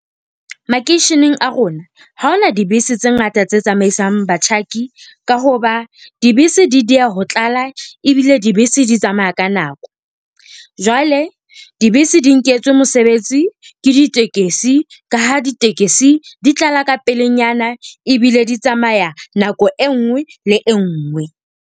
Makeisheneng a rona, ha ho na dibese tse ngata tse tsamaisang batjhaki ka hoba dibese di dieha ho tlala, ebile dibese di tsamaya ka nako. Jwale dibese di nketswe mosebetsi ke ditekesi ka ha ditekesi di tlala ka pelenyana ebile di tsamaya nako e nngwe le e nngwe.